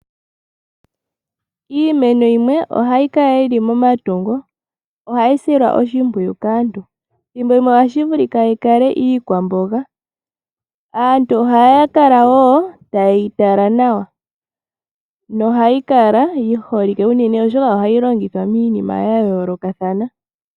Iimeno yimwe ohayi Kala yili momatungo ohayi silwa oshimpwiyu kaantu thimbo limwe ohashi vulika yi kale iikwamboga. Aantu ohaya kala wo taye yi tala nawa nohayi kala yi holike uunene, oshoka ohayi longithwa miinima ya yoolokathana.